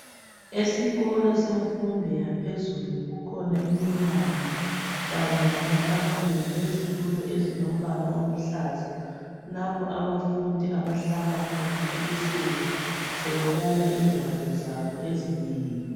Esikolo semfundo yaphezulu kukhona imnyango kanye lamatafula lezitulo ezilombala oluhlaza lapho abafundi abahlala khona ebusuku sebebala ingwalo zabo ezinengi.